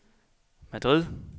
Madrid